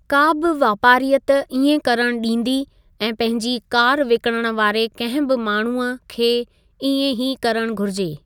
का बि वापारीयत इएं करण ॾींदी ऐं पंहिंजी कारु विकिणणु वारे कंहिं बि माण्हूअ खे इएं ही करणु घुरिजे।